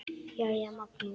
Jæja, Magnús.